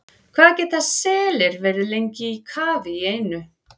Hvað geta selir verið lengi í kafi í einu?